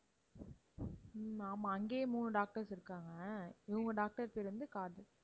உம் ஆமா, அங்கேயே மூணு doctors இருக்காங்க. இவங்க doctor பேர் வந்து காதர்.